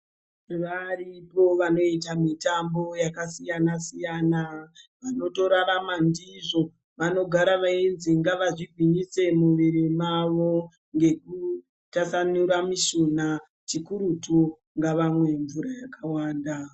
Varipo vanoita mitambo yakasiyana siyana. Vanotorarama ndizvo. Vanogara veinzi ngavazvigwinyise muviri mavo ngekutasanura mishuna. Chikurutu ngavamwe mvura yakawanda.